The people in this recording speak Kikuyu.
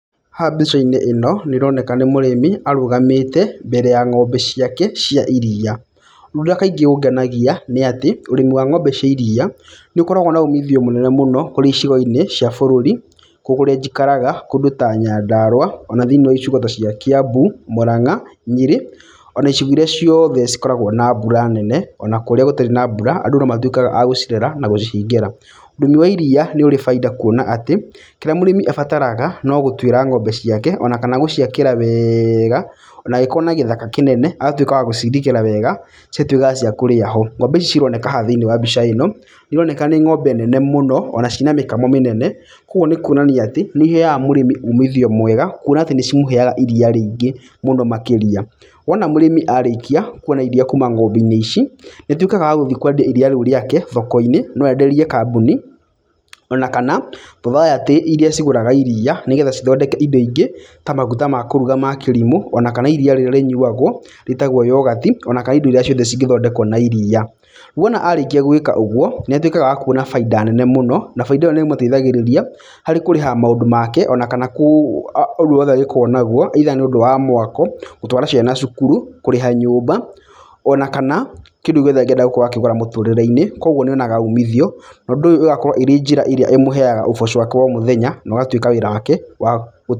Haha mbica-inĩ ĩno nĩ ĩroneka nĩ mũrĩmi arũgamĩte mbere ya ng'ombe ciake cia iria. Ũndũ ũrĩa kaingĩ ũngenagia nĩ atĩ, ũrĩmi wa ng'ombe cia iria nĩ ũkoragwo na umithio mũnene mũno kũrĩ icigo-inĩ cia bũrũri. njikaraga kũndũ ta Nyandarũa ona thĩniĩ wa icigo ta cia Kiambu, Mũranga, Nyerĩ, ona icigo irĩa ciothe cikoragwo na mbura nene, ona kũrĩa gũtarĩ na mbura, andũ no matuĩkaga a gũcirera na gũcihingĩra. Ũrĩmi wa iria nĩ ũrĩ baita kuona atĩ kĩrĩa mũrĩmi abataraga no gũtuĩra ng'ombe ciake ona kana gũciakĩra wega. Ona angĩkorwo na gĩthakana kĩnene agatuĩka wa gũciirigĩra wega, cigatuĩka cia kũrĩra ho. Ng'ombe ici cironeka haha thĩiniĩ wa mbica ĩno nĩ ironeka nĩ ironeka nĩ ng'ombe nene mũno ona ciĩna mĩkamo mĩnene. Koguo nĩ kuonania atĩ nĩ iheaga mũrĩmi umithio mwega kuona atĩ nĩ cimũheaga iria rĩngĩ mũno makĩrĩa. Wona mũrĩmi arĩkia kuona iria kuuma ng'ombe-inĩ ici, nĩ atuĩkaga wagũthiĩ kwendia iria rĩu rĩake thoko-inĩ. No enderie kambuni ona kana society irĩa cigũraga iria nĩgetha cithondeke indo ingĩ, ta maguta ma kũruga ma kĩrimũ ona kana iria rĩrĩa rĩnyuagwo rĩtagwo yoghurt, ona kana indo irĩa ciothe cingĩthondekwo na iria. Wona arĩkia gwĩka ũguo, nĩ atuĩkaga wa kuona baita nene mũno na baita ĩyo nĩ ĩmũteithagĩrĩria harĩ kũrĩha maũndũ make ona kana ũndũ wothe arĩkoragwo naguo. Either nĩ ũndũ wa mwako, gũtwara ciana cukuru, kũrĩha nyũmba ona kana kĩndũ gĩothe angĩenda gũkorwo akĩgũra mũtũũrĩre-inĩ. Koguo nĩ onaga umithio na ũndũ ũyũ ũgakorwo ĩrĩ njĩra ĩrĩa ĩmũheaga ũbocho wake wa o mũthenya na ũgatuĩka wĩra wake wa gũ.